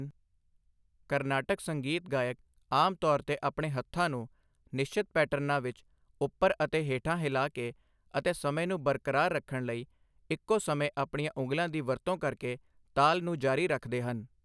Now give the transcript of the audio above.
ਕਾਰਨਾਟਿਕ ਸੰਗੀਤ ਗਾਇਕ ਆਮ ਤੌਰ 'ਤੇ ਆਪਣੇ ਹੱਥਾਂ ਨੂੰ ਨਿਸ਼ਚਿਤ ਪੈਟਰਨਾਂ ਵਿੱਚ ਉੱਪਰ ਅਤੇ ਹੇਠਾਂ ਹਿਲਾ ਕੇ ਅਤੇ ਸਮੇਂ ਨੂੰ ਬਰਕਰਾਰ ਰੱਖਣ ਲਈ ਇੱਕੋ ਸਮੇਂ ਆਪਣੀਆਂ ਉਂਗਲਾਂ ਦੀ ਵਰਤੋਂ ਕਰਕੇ ਤਾਲ ਨੂੰ ਜਾਰੀ ਰੱਖਦੇ ਹਨ।